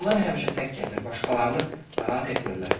Onlar həmişə tək gəzir, başqalarını narahat etmirlər.